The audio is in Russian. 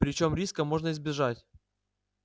причём риска можно избежать